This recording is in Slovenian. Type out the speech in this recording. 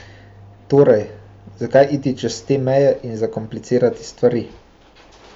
Torej, zakaj iti čez te meje in zakomplicirati stvari?